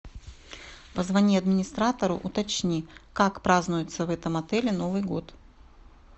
позвони администратору уточни как празднуется в этом отеле новый год